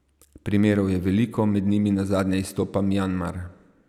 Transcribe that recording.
Primerov je veliko, med njimi nazadnje izstopa Mjanmar.